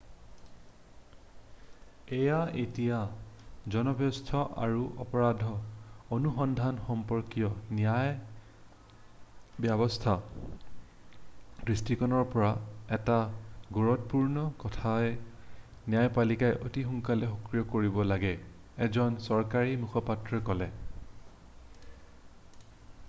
এয়া এতিয়া জনস্বাস্থ্য আৰু অপৰাধ অনুসন্ধান সম্পৰ্কীয় ন্যায় ব্যৱস্থাৰ দৃষ্টিকোণৰ পৰা এটা গুৰুত্বপূৰ্ণ কথা যে ন্যায়পালিকাক অতি সোনকালে সক্ৰিয় কৰিব লাগে এজন চৰকাৰী মুখপাত্ৰই ক'লে